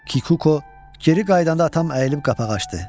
Kikuko geri qayıdanda atam əyilib qapağı açdı.